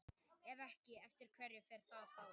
Ef ekki, eftir hverju fer það þá?